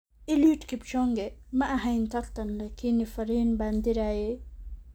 Eliud Kipchoge: Ma ahayn tartan laakiin fariin baan dirayay